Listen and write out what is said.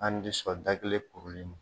An di sɔn da kelen kuruli ma.